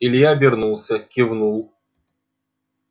илья обернулся кивнул